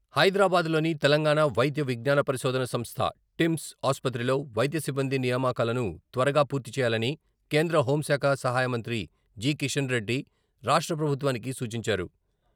హైదరాబాద్ లోని తెలంగాణ వైద్య విజ్ఞాన పరిశోధన సంస్థ టిమ్స్ ఆసుపత్రిలో వైద్య సిబ్బంది నియామకాలను త్వరగా పూర్తి చేయాలని కేంద్ర హోంశాఖ సహాయమంత్రి జి.కిషన్రెడ్డి రాష్ట్ర ప్రభుత్వానికి సూచించారు.